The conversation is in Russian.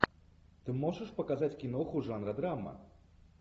ты можешь показать киноху жанра драма